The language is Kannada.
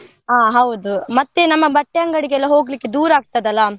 ಆ ಹೌದು, ಮತ್ತೆ ನಮ್ಮ ಬಟ್ಟೆ ಅಂಗಡಿಗೆಲ್ಲ ಹೋಗ್ಲಿಕ್ಕೆ ದೂರ ಆಗ್ತಾದಲ್ಲ.